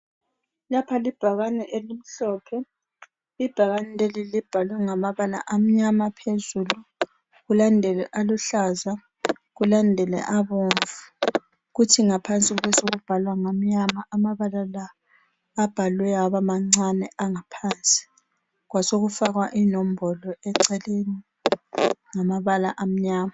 Lapha libhakane elimhlophe ibhakane leli libhalwe ngamabala amnyama phezulu kulandele aluhlaza kulandele abomvu kuthi ngaphansi besekubhalwa ngamnyama amabala la abhalwe aba mancane angaphansi kwasekufakwa inombolo eceleni ngamabala amnyama.